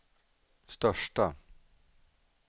största